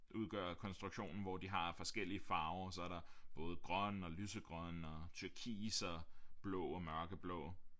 Udgør konstruktionen hvor de har forskellige farver og så er der både grøn og lysegrøn og turkis og blå og mørkeblå